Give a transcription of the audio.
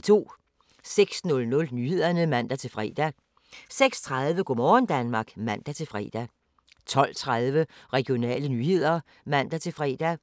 06:00: Nyhederne (man-fre) 06:30: Go' morgen Danmark (man-fre) 12:30: Regionale nyheder (man-fre)